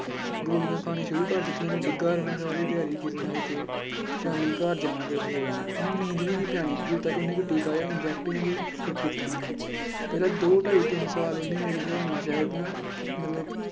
ਗੋਲੀਆਂ ਖਾਣੀਆਂ ਸ਼ੁਰੂ ਕਰ ਦਿੱਤੀਆਂ, ਉਹਨੇ ਡਿੱਗਾ ਰਹਿਣਾ ਸਾਰੀ ਦਿਹਾੜੀ ਕਿਤੇ ਨਾ ਕਿਤੇ, ਸ਼ਾਮੀ ਘਰ ਜਾਣਾ ਤੇ ਸੌ ਜਾਣਾ, ਉਹਨੂੰ ਨੀਂਦ ਵੀ ਨੀ ਪੈਣੀ ਜਦੋਂ ਤੱਕ ਉਹਨੇ ਕੋਈ ਟੀਕਾ ਜਿਹਾ inject ਕੋਈ ਕੀਤਾ ਨੀ ਪਹਿਲਾਂ ਦੋ ਢਾਈ ਤਿੰਨ ਸਾਲ ਉਹਨੇ ਮੇਰੇ ਖਿਆਲ ਨਾਲ ਸ਼ਾਇਦ ਨਾ ਮਤਲਬ